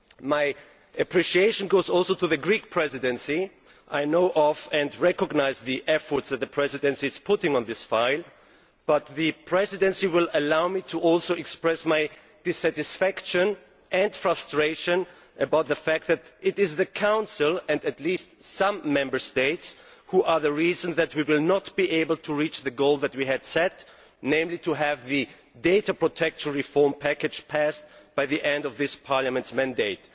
My appreciation goes also to the Greek Presidency. I know and recognise the effort that the Presidency is putting into this file, but the Presidency will also allow me to express my dissatisfaction and frustration about the fact that it is the Council, and at least some Member States, which are the reasons why we will not be able to reach the goal that we had set, namely to have the data protection reform package passed by the end of this Parliament's mandate.